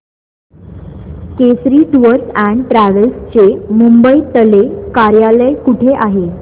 Kesari tours and travels चे मुंबई तले कार्यालय कुठे आहे